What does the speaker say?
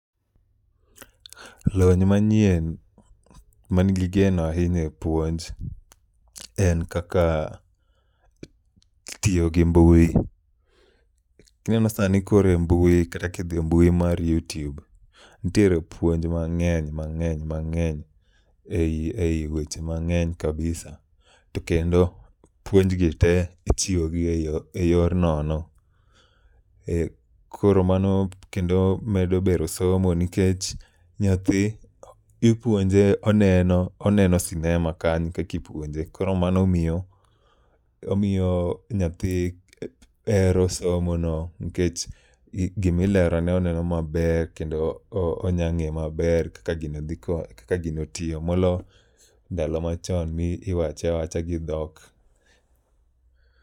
Lony manyien man gi geno ahinya e puonj en kaka tiyo gi mbui. Ineno sani kore mbui kata kidhi mbui mar YouTube, nitiere puonj mang'eny mang'eny mang'eny ei ei weche mang'eny kabisa. To kendo puonj gi te ichiwo gi e yor nono. Eh, koro mano kendo medo bero somo nikech nyathi ipuonje oneno, oneno sinema ka kakipuonje. Koro mano omiyo, omiyo nyathi hero somo no nikech gimilerone oneno maber kendo onya ng'e maber kaka gino dhi ko, kaka gino tiyo. Molo ndalo machon miwache awacha gi dhok.